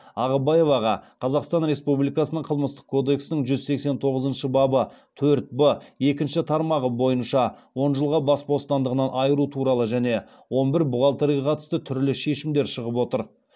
ағыбаеваға он жылға бас бостандығынан айыру туралы және он бір бухгалтерге қатысты түрлі шешімдер шығып отыр